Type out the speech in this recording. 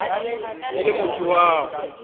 e le motho wa go